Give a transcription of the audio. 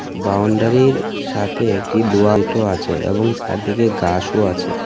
বাউন্ডারির সাথে একটি দোয়ালটো আছে এবং চারদিকে গাসও আছে .